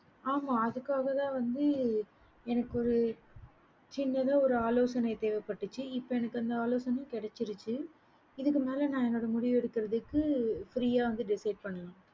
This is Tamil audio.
ஆமா அதுக்காக தான் வந்து எனக்கு ஒரு சின்னதா ஒரு ஆலோசனை தேவைபட்டச்சி எனக்கு இப்ப அந்த ஆலோசைனை கிடைச்சிருச்சி இதுக்கு மேல நான் என்ன முடிவு எடுக்கறதுக்கு free வந்து decide பண்ணலாம்